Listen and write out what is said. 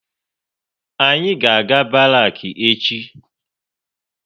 Anyị ga aga Barak echi